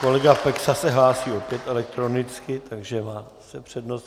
Kolega Peksa se hlásí opět elektronicky, takže má zase přednost.